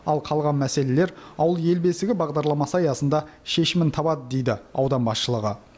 ал қалған мәселелер ауыл ел бесігі бағдарламасы аясында шешімін табады дейді аудан басшылығы